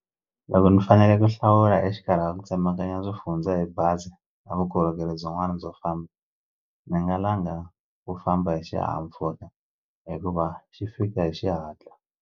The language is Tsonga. Loko ni fanele ku hlawula exikarhi ka ku tsemekanya swifundza hi bazi na vukorhokeri byin'wani byo famba ni nga langa ku famba hi xihahampfhuka hikuva xi fika hi xihatla.